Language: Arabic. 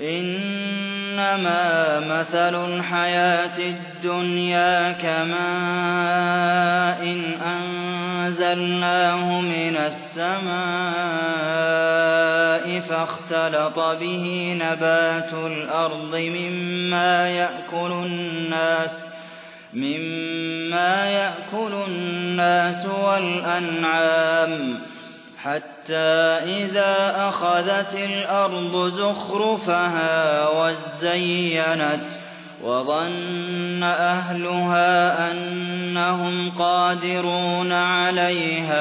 إِنَّمَا مَثَلُ الْحَيَاةِ الدُّنْيَا كَمَاءٍ أَنزَلْنَاهُ مِنَ السَّمَاءِ فَاخْتَلَطَ بِهِ نَبَاتُ الْأَرْضِ مِمَّا يَأْكُلُ النَّاسُ وَالْأَنْعَامُ حَتَّىٰ إِذَا أَخَذَتِ الْأَرْضُ زُخْرُفَهَا وَازَّيَّنَتْ وَظَنَّ أَهْلُهَا أَنَّهُمْ قَادِرُونَ عَلَيْهَا